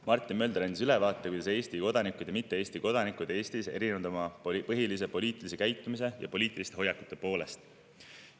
Martin Mölder andis ülevaate, kuidas Eesti kodanikud ja mitte Eesti kodanikud Eestis erinevad oma põhilise poliitilise käitumise ja poliitiliste hoiakute poolest.